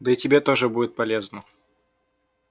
да и тебе тоже будет полезно